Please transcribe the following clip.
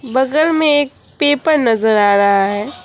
बगल में एक पेपर नजर आ रहा है।